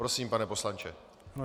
Prosím, pane poslanče.